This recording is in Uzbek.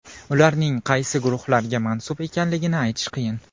Ularning qaysi guruhlarga mansub ekanligini aytish qiyin.